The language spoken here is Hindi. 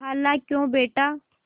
खालाक्यों बेटा